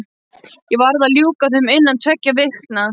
Ég verð að ljúka þeim innan tveggja vikna.